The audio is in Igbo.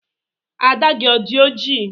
Ada gị ọ dị ọjị?